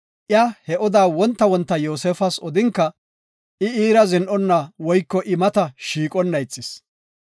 Iya he odaa wonta wonta Yoosefas odinka, I iira aqonna woyko I mata shiiqona ixis.